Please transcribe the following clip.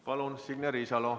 Palun, Signe Riisalo!